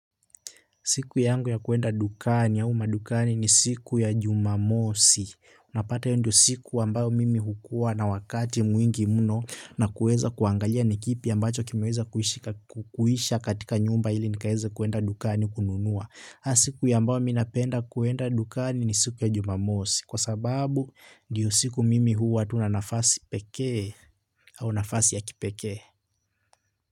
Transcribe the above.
Siku yangu ya kuenda dukani ya au madukani ni siku ya Jumamosi. Unapata hiyo ndio siku ambayo mimi hukua na wakati mwingi mno, na kueza kuangalia ni kipi ambacho kimeweza kuisha katika nyumba ili nikaweze kuenda dukani kununua. Na siku ambayo mi napenda kuenda dukani ni siku ya Jumamosi, kwa sababu ndiyo siku mimi huwa tu na nafasi pekee au nafasi ya kipekee.